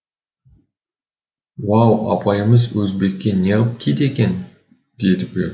уау апайымыз өзбекке неғып тиді екен деді біреуі